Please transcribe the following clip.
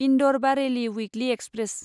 Indore Bareilly Weekly express